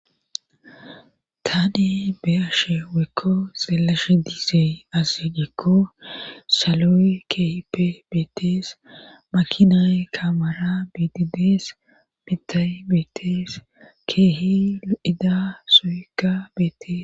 Taani beashe weekko silashe diisey ase gekko saloyi kehipe beetes makinay kamara biitidees mitay beetees keehi ida soyekka beetees.